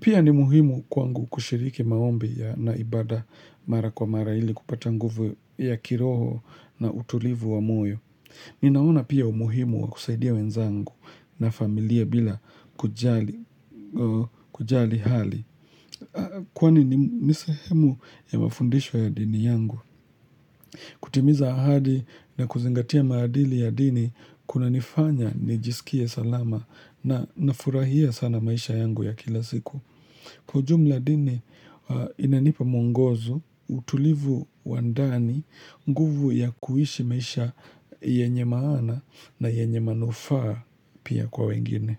Pia ni muhimu kwangu kushiriki maombi ya naibada mara kwa mara hili kupata nguvu ya kiroho na utulivu wa moyo Ninaona pia umuhimu kusaidia wenzangu na familia bila kujali hali Kwa ni nisehemu ya mafundisho ya dini yangu kutimiza ahadi na kuzingatia maadili ya dini Kuna nifanya nijisikie salama na nafurahia sana maisha yangu ya kila siku Kujumla dini inanipa mungozo utulivu wandani nguvu ya kuishi maisha yenye maana na yenye manufaa pia kwa wengine.